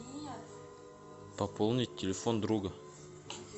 пополнить телефон друга